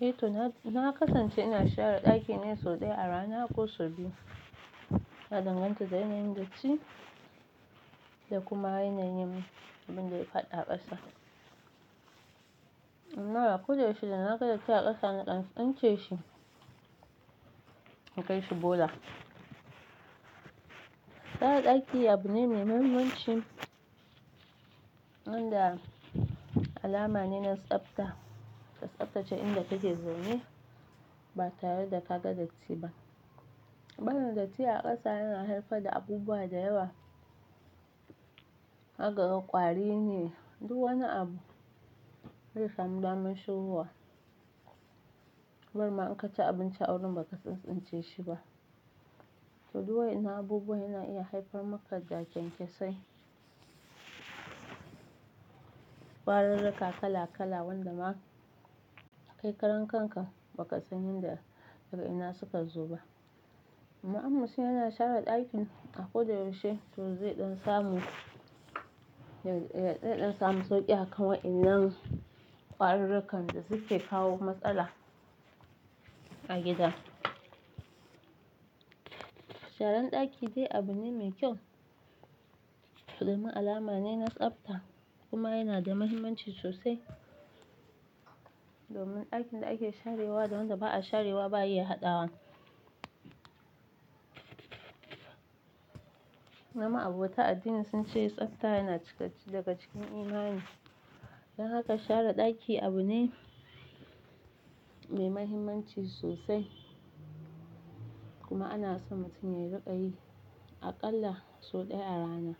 Eh to na kasance ina share ɗaki ne sau ɗaya a rana ko sau biyu. Na danganta da yanayin datti da kuma yanayin abin da ya faɗi a ƙasa. Amma a ko da yaushe da na ga datti a ƙasa na ƙan since shi in kai shi bola. Share ɗaki abu ne mai mahimmanci wanda alama ne na tsafta, ka tsaftace inda kake zaune ba tare da ka ga datti ba. Ɓarin datti a ƙasa yana haifar da abubuwa da yawa. Haka ga ƙwari ne, duk wani abu zai samu damar shigowa. Bar ma in ka ci abinci a wurin ba ka tsintsince shi ba, to duk wa ennan abubuwa yana iya haifar maka da-kyankyasai. Farurruka kala kala wanda ma kai karan kanka ba ka san inda daga ina suka zo ba. Amma in mtum yana share ɗakin a ko da yaushe to zai ɗan samu, zai dan samu sauƙi a kan wa'innan ƙwarirrakan da suke kawo matsala a gida. Sharan ɗaki dai abu ne mai kyau. Ɗumin alama ne na tsafta kuma yana da mahimmanci sosai. Domin ɗakin da ake sharewa da wanda ba'a sharewa ba iya haɗawa. Da ma a bauta addini sun ce tsafta yana cikacce daga cikin imani. Don haka share ɗaki abu ne mai mahimmanci sosai. Kuma ana so mutum yayi rika yi aƙalla sau ɗaya a rana.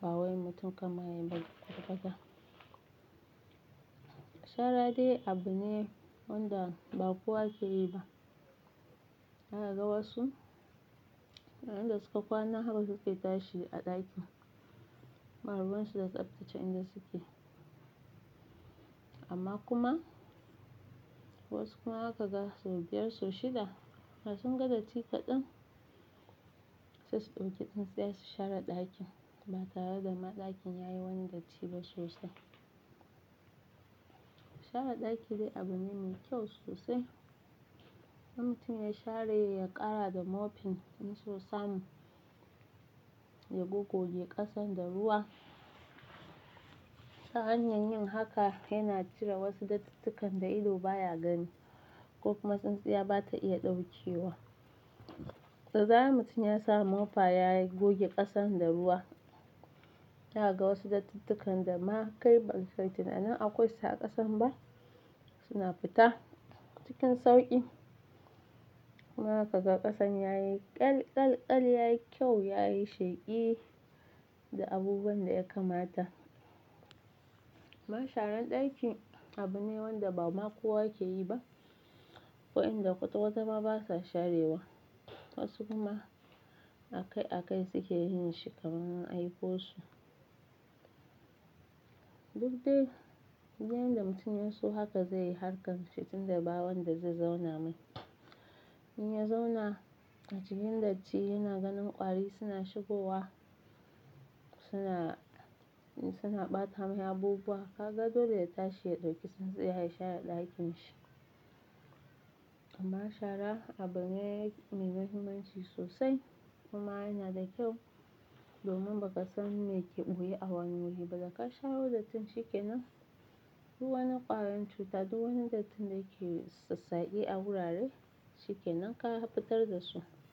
Ba wai mutum kamar yayi bar kwat kwata. Shara dai abu ne wanda ba kowa ya ke yi ba. Zaka ga wasu, inda suka kwana haka suke tashi a ɗakin. Marubansu da tsaftace inda suke. Amma kuma wasu kuma haka ga sau biyar sau shida, da sun ga datti kaɗan sai su ɗauki tsintsiyar su share ɗakin ba tare da ma ɗakin yayi wani datti ba sosai. Share ɗaki dai abu ne mai kyau sosai. In mutum ya share ya ƙara da mopin in so samu ya goge ƙasan da ruwa. Ta hanyar yin haka yana cire wasu dattitukan da ido baya gani ko kuma tsintsiya ba ta iya ɗauke wa. To za'ai mutum ya samu mofa ya goge ƙasan da ruwa. Zaka ga wasu dattitukan da ma kai ba ka yi tunanin akwai su a ƙasan ba suna fita cikin sauƙi. Kuma zaka ga ƙasan yayi ƙyal ƙyal ƙyal yayi kyau yayi sheƙi da abubuwan da ya kamata. Ma sharan ɗaki abu ne wanda ba ma kowa ya ke yi ba. Akwai wa inda kwata kwata ma basa sharewa. Wasu kuma a kai a kai suke yin shi kamar an aiko su. Duk dai, yanayin da mutum yaso haka zai yi harkar fitin daɓawon da zai zauna mai. In ya zauna a cikin datti yana ganin ƙwari suna shigowa suna, suna ɓata mai abubuwa. Ka ga dole yayi tashi ya ɗauki tsintsiyar ya share ɗakin shi. Amma shara abu ne mai mahimmanci sosai kuma yana da kyau domin ba ka san me ke ɓoye a wani wuri ba. Da ka sharo datton shikenan duk wani ƙwarin cuta duk wani dattin da ke sassaƙe a wurare shikenan ka haftar da su.